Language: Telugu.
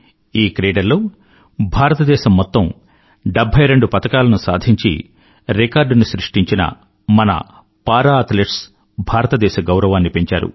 ఈ క్రీడల్లో భారతదేశం మొత్తం 72 పతకాలను సాధించి రికార్డు ని సృష్టించిన మన పారా అథ్లెట్స్ భారతదేశ గౌరవాన్ని పెంచారు